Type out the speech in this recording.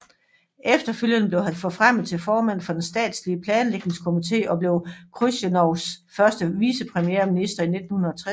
Efterfølgende blev han forfremmet til formand for den statslige planlægningskomité og blev Khrusjtjovs første vicepremierminister i 1960